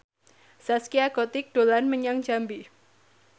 Zaskia Gotik dolan menyang Jambi